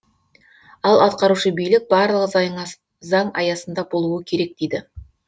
ал атқарушы билік барлығы заң аясында болуы керек дейді